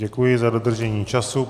Děkuji za dodržení času.